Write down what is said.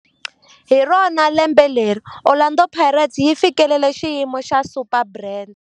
Hi rona lembe leri Orlando Pirates yi fikeleleke xiyimo xa Superbrand.